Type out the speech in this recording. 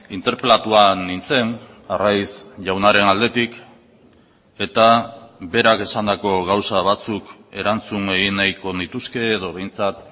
interpelatua nintzen arraiz jaunaren aldetik eta berak esandako gauza batzuk erantzun egin nahiko nituzke edo behintzat